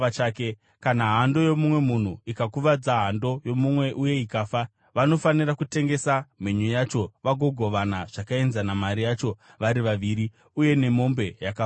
“Kana hando yomumwe munhu ikakuvadza hando yomumwe uye ikafa, vanofanira kutengesa mhenyu yacho vagogovana zvakaenzana mari yacho vari vaviri, uye nemombe yakafawo.